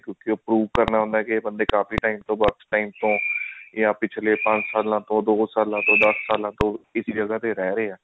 prove ਕਰਨਾ ਹੁੰਦਾ ਇਹ ਕਾਫੀ time ਤਨ birth time ਤੋਂ ਯਾ ਪਿਛਲੇ ਪੰਜ ਸਾਲਾਂ ਤੋਂ ਜਾ ਦੋ ਸਲਾਂ ਤੋਂ ਦਸ ਸਾਲਾਂ ਤੋਂ ਇਸੀ ਜਗ੍ਹਾ ਤੇ ਰਹੀ ਰਿਹਾ